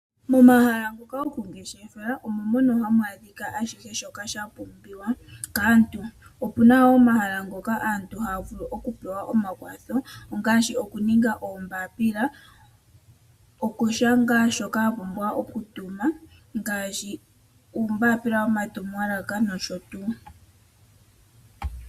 Momahala ngoka goku ngeshefela omo mono hamu adhika kehe shoka sha pumbiwa kaantu. Opuna wo omahala ngoka aantu haya vulu oku pewa omakwatho ongaashi oku ninga oombaapila, okushanga shoka a pumbwa oku tuma ngaashi uumbaapila womatumwalaka nosho tuu.